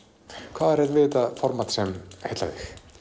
hvað er við þetta form sem heillar